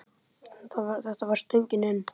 Þetta var stöngin inn!